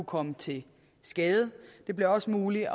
komme til skade det bliver også muligt